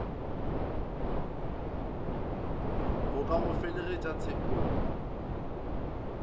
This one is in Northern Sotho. go ka go felegetša tshekong